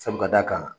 Sabu ka d'a kan